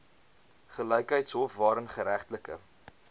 gelykheidshof waarin geregtelike